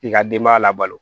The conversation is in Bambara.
I ka denbaya labalo